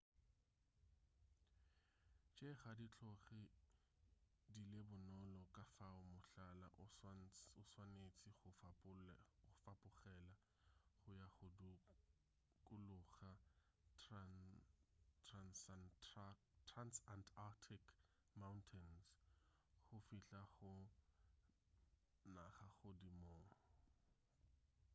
tše ga di tloge di le bonolo ka fao mohlala o swanetše go fapogela go ya go dukuluga transantarctic mountains go fihla go nagagodimong